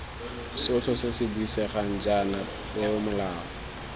sotlhe se buisegang jaana peomolao